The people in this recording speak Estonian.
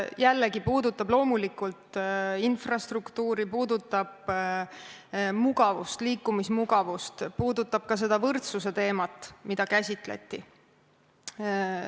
Jällegi puudutab see loomulikult infrastruktuuri, mugavust, liikumismugavust, puudutab ka võrdsuse teemat, mida käsitleti.